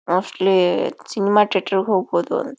Mostly cinema theatre ಗೆ ಹೋಗಬೋದು.